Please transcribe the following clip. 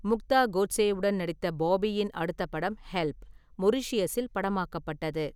முக்தா கோட்சேவுடன் நடித்த பாபியின் அடுத்த படம் 'ஹெல்ப்', மொரீஷியஸில் படமாக்கப்பட்டது.